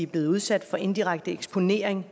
blevet udsat for indirekte eksponering